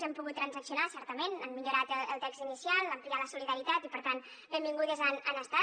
hem pogut transaccionar certament han millorat el text inicial ampliar la solidaritat i per tant benvingudes han estat